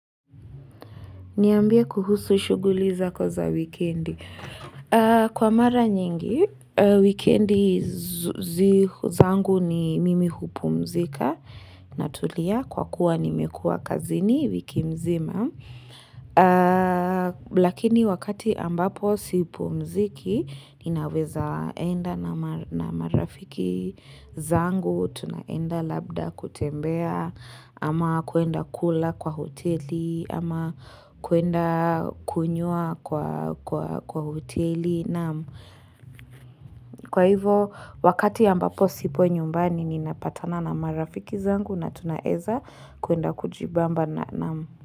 Niambie kuhusu shughuli zako za wikendi. Kwa mara nyingi, wikendi zangu ni mimi hupumzika natulia kwa kuwa nimekuwa kazini wiki mzima. Lakini wakati ambapo sipumziki, ninaweza enda na marafiki zangu. Zangu, tunaenda labda kutembea, ama kuenda kula kwa hoteli, ama kuenda kunywa kwa hoteli. Kwa hivyo, wakati ambapo sipo nyumbani, ninapatana na marafiki zangu na tunaeza kuenda kujibamba.